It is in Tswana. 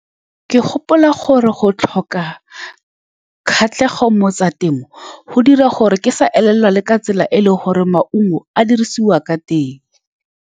Ke gopola gore go tlhoka kgatlhego mo go tsa temo, go dira gore ke sa e lelwa, le ka tsela e e leng gore maungo a dirisiwa ka teng.